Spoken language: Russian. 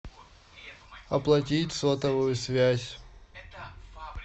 оплатить сотовую связь